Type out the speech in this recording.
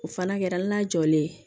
O fana kɛra hali n'a jɔlen ye